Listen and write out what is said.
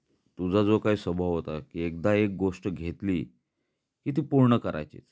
तुझा जो काही स्वभाव होता की एकदा एक गोष्ट घेतली कि ती पूर्ण करायचीच